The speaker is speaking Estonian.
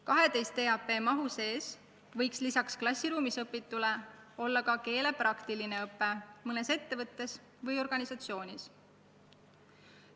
12 EAP mahu sees võiks lisaks klassiruumis õpitule olla ka keele praktiline õpe mõnes ettevõttes või organisatsioonis.